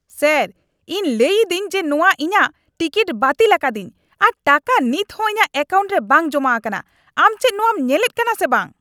Sir ! ᱤᱧ ᱞᱟᱹᱭ ᱤᱫᱟᱹᱧ ᱡᱮ ᱤᱧ ᱤᱧᱟᱜ ᱴᱤᱠᱤᱴ ᱵᱟᱹᱛᱤᱞ ᱟᱠᱟᱫᱤᱧ ᱟᱨ ᱴᱟᱠᱟ ᱱᱤᱛᱦᱚᱸ ᱤᱧᱟᱜ ᱮᱹᱠᱟᱣᱩᱱᱴ ᱨᱮ ᱵᱟᱝ ᱡᱚᱢᱟ ᱟᱠᱟᱱᱟ ᱾ ᱟᱢ ᱪᱮᱫ ᱱᱚᱶᱟᱢ ᱧᱮᱞᱮᱫ ᱠᱟᱱᱟ ᱥᱮ ᱵᱟᱝ ?